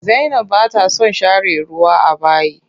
Zainab bata son share ruwa a bayi.